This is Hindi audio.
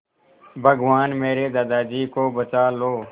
भगवान मेरे दादाजी को बचा लो